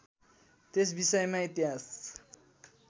त्यस विषयमा इतिहास